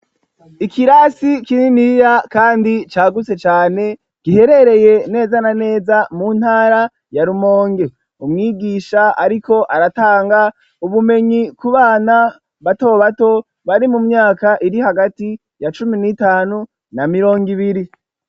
Ikirasi kininiya, kandi cagutse cane; giherereye neza na neza, mu ntara ya Rumonge; umwigisha ariko aratanga ubumenyi, ku bana bato bato, bari mu myaka, iri hagati ya cumi n'itanu na mirongo ibiri.